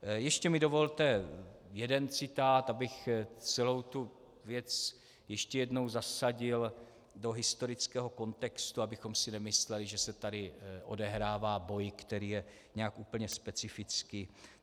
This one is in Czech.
Ještě mi dovolte jeden citát, abych celou tu věc ještě jednou zasadil do historického kontextu, abychom si nemysleli, že se tady odehrává boj, který je nějak úplně specifický.